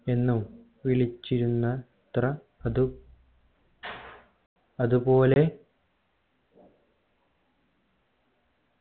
എന്നും വിളിച്ചിരുന്ന എത്ര അത് അതുപോലെ